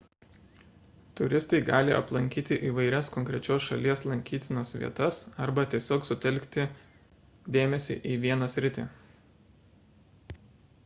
turistai gali aplankyti įvairias konkrečios šalies lankytinas vietas arba gali tiesiog sutelkti dėmesį į vieną sritį